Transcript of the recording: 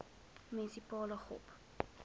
munisipale gop